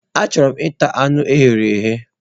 Achọrọ m ita anu e ghere eghe.